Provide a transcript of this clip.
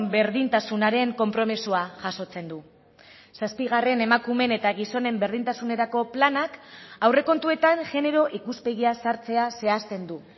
berdintasunaren konpromisoa jasotzen du zazpigarren emakumeen eta gizonen berdintasunerako planak aurrekontuetan genero ikuspegia sartzea zehazten du